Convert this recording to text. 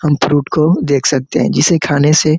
हम फ्रूट को देख सकते है जिसे खाने से--